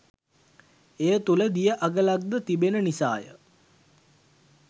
එය තුල දිය අගලක්ද තිබෙන නිසාය.